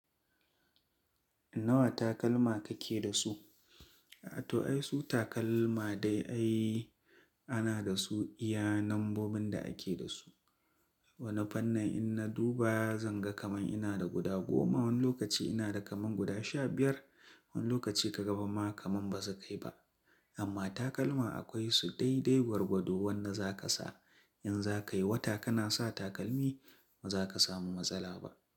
Nawa takalma kake da su? To ai su takalma dai ai ana da su iya nambobin da ake da su. Wani fannin in na duba zan ga kaman ina da guda goma, wani lokaci ina da kaman guda sha biyar, wani lokaci ka ga kaman ma kaman ba su kai ba. Amma takalma akwai su dai-dai gwargwado wanda za ka sa. In za ka yi wata kana sa takalmi, ba za ka samu matsala ba.